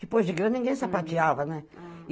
Depois de grande, ninguém sapateava, né? Ah